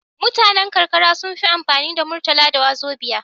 Mutanan karkara sunfi amfani da murtala da wazobiya